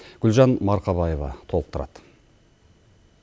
гүлжан марқабаева толықтырады